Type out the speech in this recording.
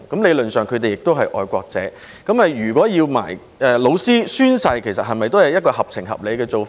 理論上，他們都是愛國者，如果要求老師也要宣誓，是否也是合情合理的做法？